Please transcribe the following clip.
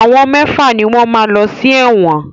Àwọn mẹ́fà ni wọ́n máa lọ sí ẹ̀wọ̀n.